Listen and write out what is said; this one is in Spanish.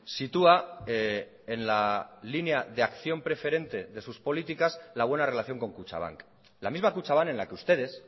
sitúa en la línea de acción preferente de sus políticas la buena relación con kutxabank la misma kutxabank en la que ustedes